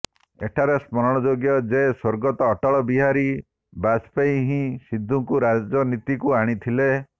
ଏଠାରେ ସ୍ମରଣଯୋଗ୍ୟ ଯେ ସ୍ବର୍ଗତ ଅଟଳ ବିହାରୀ ବାଜପେୟୀ ହିଁ ସିଦ୍ଧୁଙ୍କୁ ରାଜନୀତିକୁ ଆଣିଥିଲେ